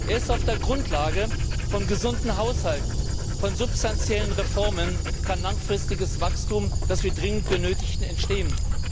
Erst auf der Grundlage von gesunden Haushalten, von substanziellen Reformen kann langfristiges Wachstum, das wir dringend benötigen, entstehen.